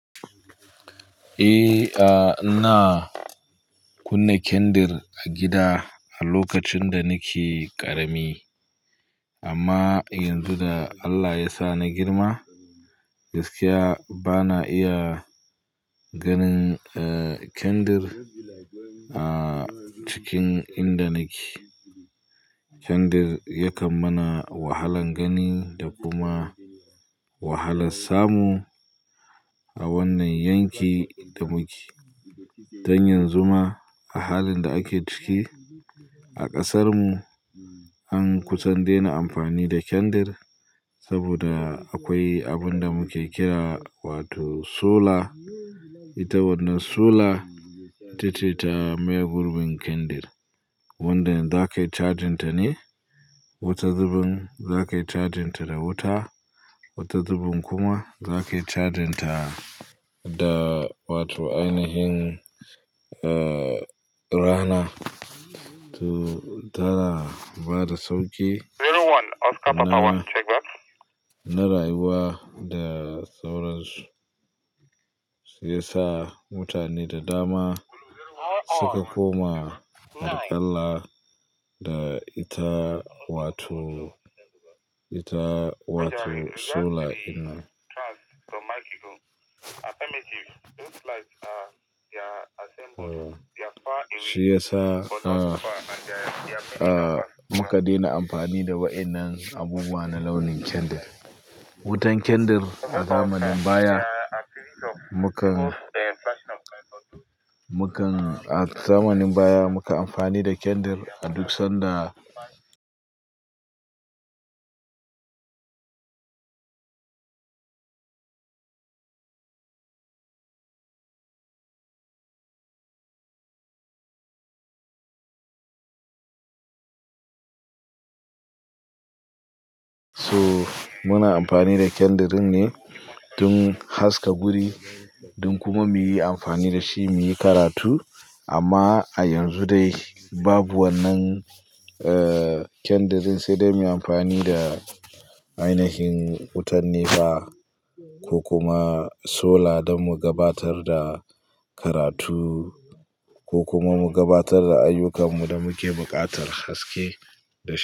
Eh, a na kunna ƙyandir a gida a lokacin da nake ƙarami. Amma yanzu da Allah ya sa na girma, gaskiya bana iya ganin, eh, ƙyandir, ah, cikin inda nake. Kyandir yakan mana wahalan gani da kuma wahalan samu a wannan yanki da muke. Dan yanzu ma, a halin da ake ciki a ƙasarmu an kusan dena amfani da kyandir saboda akwai abunda muke kira wato sola. Ita wannan sola ita ce ta maye gurbin kyandir, wanda za kayi cajin ta ne wata zubin za kai cajin ta da wuta, wata zubin kuma za kai cajin ta da, da wato ainihin, eh, rana. To, tara bada sauki. Na rayuwa da sauransu se yasa mutane da dama, su ka koma aƙalla da ita wato, ita wato sola in nan. Shiyasa, ah, ah, muka dena amfani da wa'innan abubuwa na launin kyandir. Wutan kyandir a zamanin baya, mu kan, mu kan a zamanin baya mu kan amfani da kandir a duk sanda So muna amfani da kyandirin ne don haska guri, don kuma muyi amfani da shi muyi karatu. Amma a yanzu dai babu wannan, eh, kyandirin, sai dai muyi amfani da ainihin wutan ne ba ko kuma sola don mu gabatar da karatu ko kuma mu gabatar da ayyukanmu da muke buƙatar haske da shi.